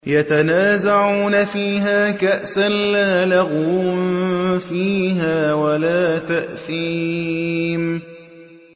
يَتَنَازَعُونَ فِيهَا كَأْسًا لَّا لَغْوٌ فِيهَا وَلَا تَأْثِيمٌ